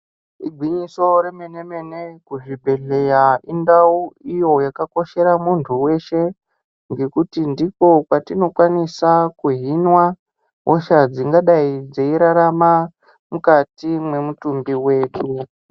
Igwinyiso remenemene kuzvibhedhleya, indawu iyo yakakoshera muntu weshe ngekuti ndiko kwatinokwanisa kuhinwa hosha dzingadayi dzeyirarama mukati memutumbi medu.